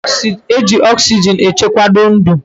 Eji oxygen echekwado ndu